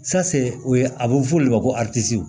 o ye a bɛ fɔ o de ma ko